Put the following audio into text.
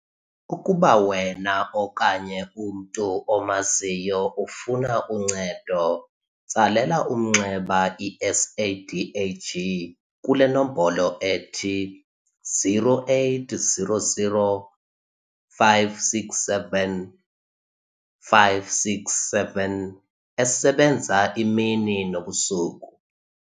Ukuba wena okanye umntu omaziyo ufuna uncedo, tsalela umnxeba i-SADAG kule nombolo-0800 567 567 esebenza imini nobusuku.